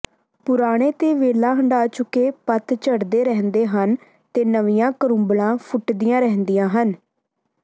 ਪੁਰਾਣੇ ਤੇ ਵੇਲਾ ਹੰਢਾ ਚੁੱਕੇ ਪੱਤ ਝੜਦੇ ਰਹਿੰਦੇ ਹਨ ਤੇ ਨਵੀਆਂ ਕਰੂੰਬਲਾਂ ਫੁੱਟਦੀਆਂ ਰਹਿੰਦੀਆਂ ਹਨ